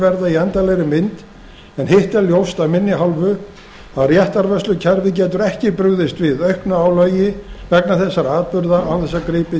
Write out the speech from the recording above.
verða í endanlegri mynd en hitt er ljóst af minni hálfu að réttarvörslukerfið getur ekki brugðist við auknu álagi vegna þessara atburða án þess að gripið